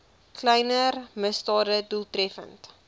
kleiner misdade doeltreffend